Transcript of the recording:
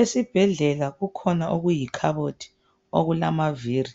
Esibhedlela kukhona okuyikhabothi okulamaviri